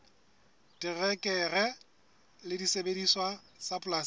terekere le disebediswa tsa polasing